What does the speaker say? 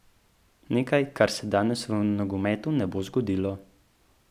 Nekaj, kar se danes v nogometu ne bo zgodilo.